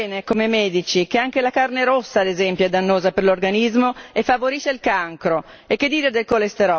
Perché noi sappiamo bene, come medici, che anche la carne rossa ad esempio è dannosa per l'organismo e favorisce il cancro!